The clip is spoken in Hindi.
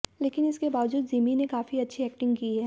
लेकिन इसके बावजूद जिमी ने काफी अच्छी एक्टिंग की है